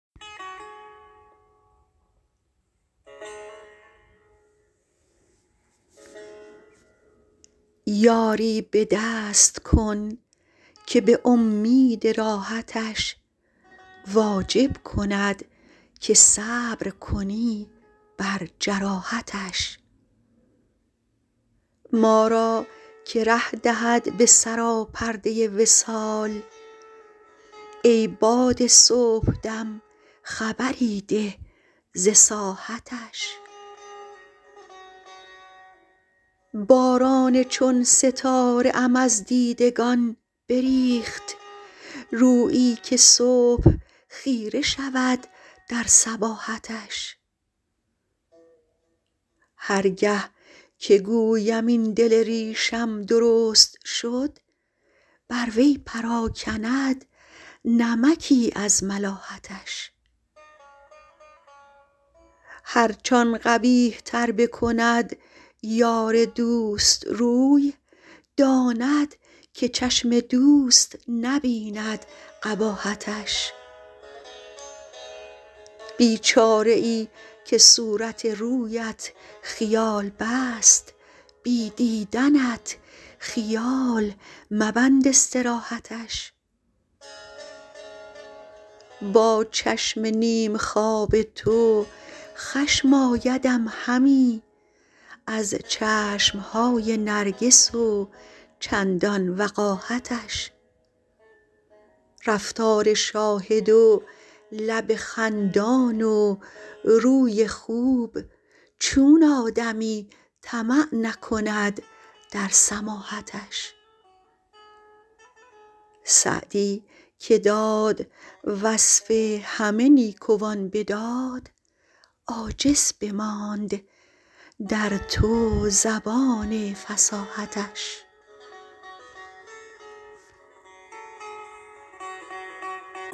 یاری به دست کن که به امید راحتش واجب کند که صبر کنی بر جراحتش ما را که ره دهد به سراپرده وصال ای باد صبح دم خبری ده ز ساحتش باران چون ستاره ام از دیدگان بریخت رویی که صبح خیره شود در صباحتش هر گه که گویم این دل ریشم درست شد بر وی پراکند نمکی از ملاحتش هرچ آن قبیح تر بکند یار دوست روی داند که چشم دوست نبیند قباحتش بیچاره ای که صورت رویت خیال بست بی دیدنت خیال مبند استراحتش با چشم نیم خواب تو خشم آیدم همی از چشم های نرگس و چندان وقاحتش رفتار شاهد و لب خندان و روی خوب چون آدمی طمع نکند در سماحتش سعدی که داد وصف همه نیکوان به داد عاجز بماند در تو زبان فصاحتش